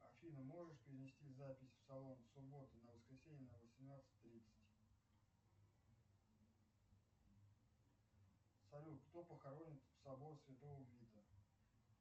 афина можешь перенести запись в салон с субботы на воскресенье на восемнадцать тридцать салют кто похоронен в сабор святого вита